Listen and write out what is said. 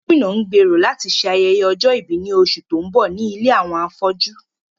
Gómìnà ń gbèrò láti ṣe ayẹyẹ ọjọ́ ìbí ní oṣù tó ń bọ̀ ní ilé àwọn afọ́jú